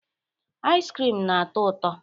Iz krim na-atọ ụtọ.